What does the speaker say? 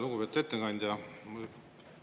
Lugupeetud ettekandja!